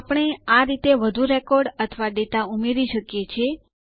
આપણે આ રીતે વધુ રેકોર્ડ અથવા ડેટા ઉમેરી શકીએ છીએ